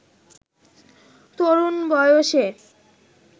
তরুণ বয়সে